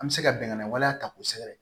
An bɛ se ka bɛngan waleya ta kosɛbɛ